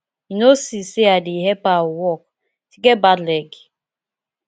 you no see say i dey help her walk she get bad leg